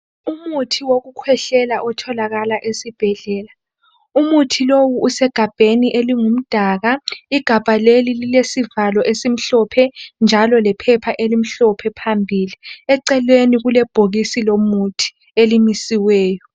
Umuntu wekukwehlela otholakala esibhedlela. Umuthi lo usegabheni elimdaka. Igabha leli elilesivalo esimhlophe njalo lephepha elimhlophe pambili. Eceleni kulebhokisi lomuthi elimisiweyo.